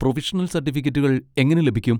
Provisional സർട്ടിഫിക്കറ്റുകൾ എങ്ങനെ ലഭിക്കും?